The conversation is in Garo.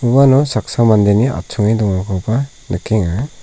uano saksa mandeni achonge dongakoba nikenga.